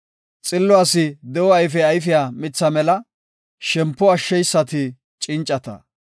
Xillo asi de7o ayfe ayfiya mitha mela; shempo ashsheysati cincata.